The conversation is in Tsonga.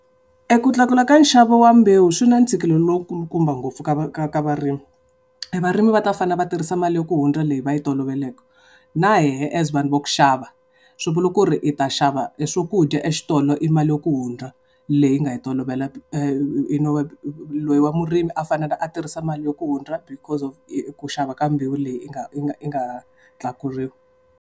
E ku tlakula ka nxavo wa mbewu swi na ntshikelelo lowu kulukumba ngopfu ka va ka va varimi. E varimi va ta fanele va tirhisa mali ya ku hundza leyi va yi toloveleke. Na hehe as vanhu va ku xava, swi vula ku ri hi ta xava eswakudya exitolo hi mali ya ku hundza, leyi hi nga yi tolovela. loyi wa murimi a fanele a tirhisa mali ku hundza because of ku xava ka mbewu leyi nga yi nga tlakuriwa.